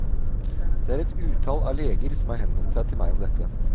Det er et utall av leger som har henvendt seg til meg om dette.